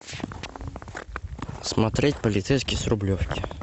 смотреть полицейский с рублевки